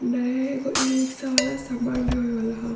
नए एगो ई-रिक्शा वाला सामान ढ़ोए वाला ह।